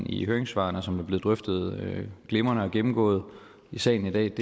i høringssvarene som er blevet drøftet og glimrende gennemgået i salen i dag